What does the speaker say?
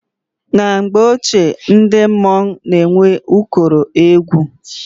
Na mgbe ochie ndị mmọnwụ na-enwe ụkọrọ egwu.